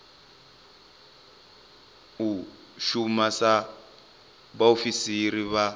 u shuma sa vhaofisiri vha